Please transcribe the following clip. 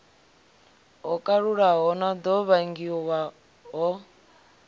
ho kalulaho no ḓo vhangiwaho